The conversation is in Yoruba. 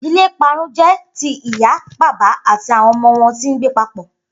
Idile iparun jẹ ti iya, baba ati awọn ọmọ wọn ti ngbe papọ.